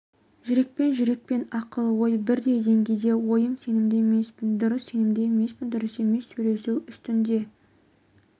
жүрекпен жүрек пен ақыл-ой бірдей деңгейде ойым сенімді емеспін дұрыс сенімді емеспін дұрыс емес сөйлесу үстінде